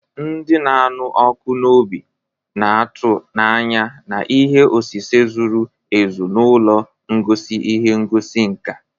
Ndị na-anụ ọkụ n'obi na-atụ n'anya na ihe osise zuru ezu na ụlọ ngosi ihe ngosi nka.